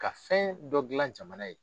Ka fɛn dɔ gilan jamana ye.